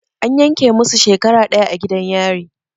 An yanke musu shekara ɗaya a gidan yari.